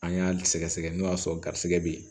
An y'a sɛgɛsɛgɛ n'o y'a sɔrɔ garisɛgɛ be yen